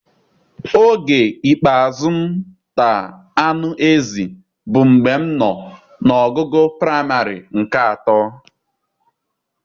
Oge ikpeazụ m tar anụ ezi bụ mgbe m nọ na ogugo praịmarị nke atọ